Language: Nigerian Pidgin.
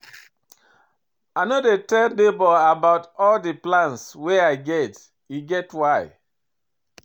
I no dey tell nebor about all di plans wey I get, e get why.